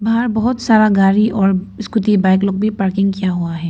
बाहर बहुत सारा गाड़ी और स्कूटी बाइक लोग भी पार्किंग किया हुआ है।